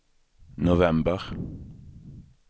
november